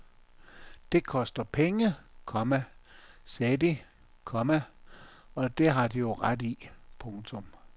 Det koster penge, komma sagde de, komma og det har de jo ret i. punktum